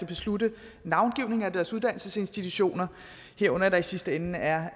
beslutte navngivningen af deres uddannelsesinstitutioner herunder at der i sidste ende er